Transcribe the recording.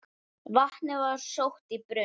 Vatnið var sótt í brunn.